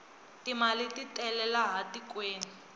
timali titele laha tikweni